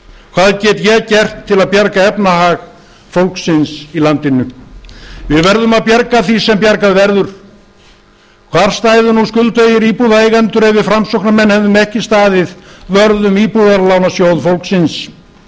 hvað get ég gert til að bjarga efnahag fólksins í landinu við verðum að bjarga því sem bjargað verður hvar stæðu nú skuldugir íbúðareigendur ef við framsóknarmenn hefðum ekki staðið vörð um í íbúðalánasjóð fólksins